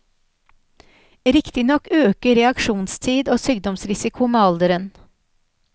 Riktignok øker reaksjonstid og sykdomsrisiko med alderen.